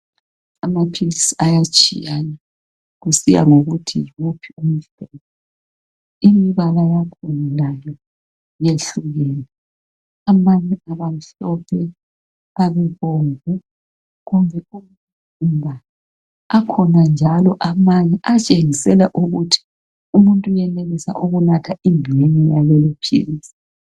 Amaphilisi ayatshiyana kusiya kusiya yiwuphi umhlobo. imbala yakhona layo yehlukene. Amanye aba mhlophe, abebomvu. Akhona amanye njalo atshengisela ukuthi umuntu uyenelisa ingxenye yaleli philisi.